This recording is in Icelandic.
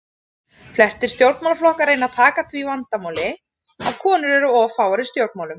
Flestir stjórnmálaflokkar reyna að taka á því vandamáli að konur eru of fáar í stjórnmálum.